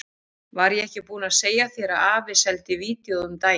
Var ég ekki búinn að segja þér að afi seldi vídeóið um daginn?